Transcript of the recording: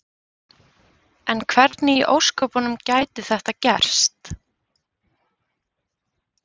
En hvernig í ósköpunum gæti þetta gerst?